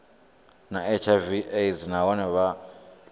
na hiv aids nahone vha